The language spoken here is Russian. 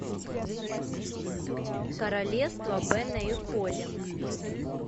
королевство бена и холли